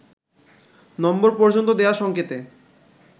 নম্বর পর্যন্ত দেয়া সঙ্কেতে